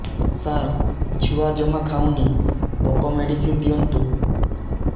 ସାର ଛୁଆ ଜମା ଖାଉନି ଭୋକ ମେଡିସିନ ଦିଅନ୍ତୁ